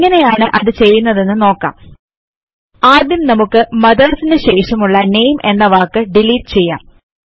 എങ്ങനെയാണു അത് ചെയ്യുന്നതെന്ന് നോക്കാം ആദ്യം നമുക്ക് മദർസ് നു ശേഷമുള്ള നാമെ എന്ന വാക്ക് ഡിലീറ്റ് ചെയ്യാം